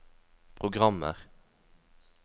programmer